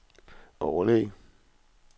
overlæge